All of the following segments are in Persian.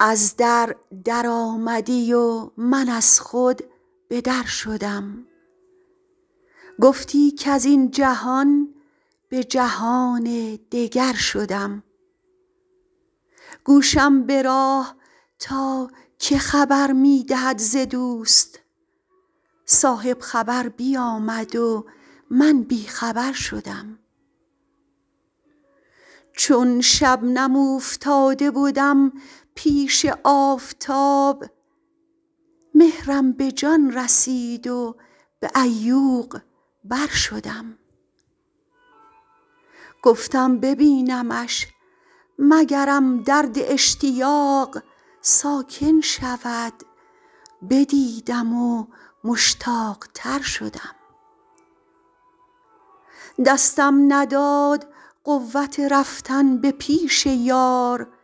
از در درآمدی و من از خود به در شدم گفتی کز این جهان به جهان دگر شدم گوشم به راه تا که خبر می دهد ز دوست صاحب خبر بیامد و من بی خبر شدم چون شبنم اوفتاده بدم پیش آفتاب مهرم به جان رسید و به عیوق بر شدم گفتم ببینمش مگرم درد اشتیاق ساکن شود بدیدم و مشتاق تر شدم دستم نداد قوت رفتن به پیش یار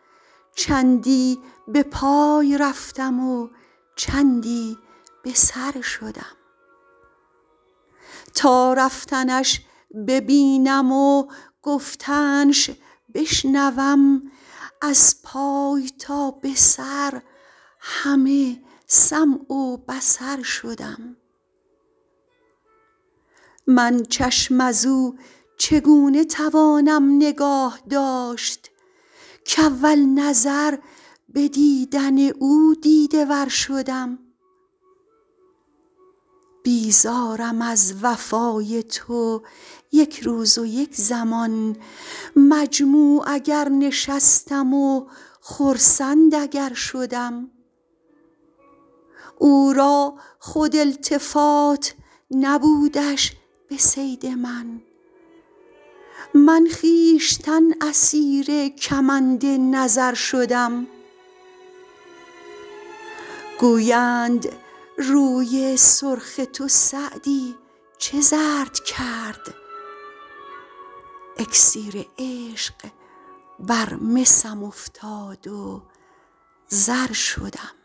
چندی به پای رفتم و چندی به سر شدم تا رفتنش ببینم و گفتنش بشنوم از پای تا به سر همه سمع و بصر شدم من چشم از او چگونه توانم نگاه داشت کاول نظر به دیدن او دیده ور شدم بیزارم از وفای تو یک روز و یک زمان مجموع اگر نشستم و خرسند اگر شدم او را خود التفات نبودش به صید من من خویشتن اسیر کمند نظر شدم گویند روی سرخ تو سعدی چه زرد کرد اکسیر عشق بر مسم افتاد و زر شدم